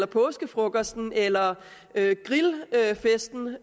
påskefrokosten eller grillfesten ude